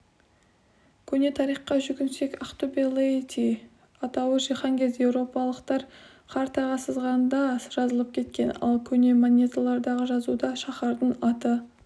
көне тарихқа жүгінсек ақтөбе-лаэти атауы жиһанкез-еуропалықтар картаға сызғанда жазылып кеткен ал көне монеталардағы жазуда шаһардың аты